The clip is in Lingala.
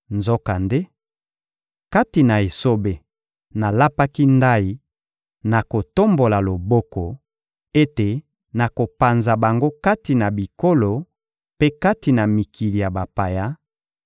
Nzokande, kati na esobe, nalapaki ndayi, na kotombola loboko, ete nakopanza bango kati na bikolo mpe kati na mikili ya bapaya;